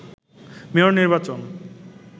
mayor নির্বাচন